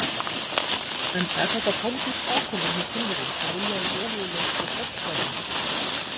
En er þetta pólitísk ákvörðun hjá Kínverjum að vilja í olíuleit á Drekasvæðinu?